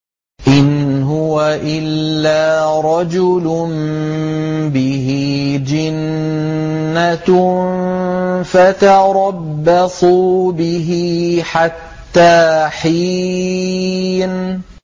إِنْ هُوَ إِلَّا رَجُلٌ بِهِ جِنَّةٌ فَتَرَبَّصُوا بِهِ حَتَّىٰ حِينٍ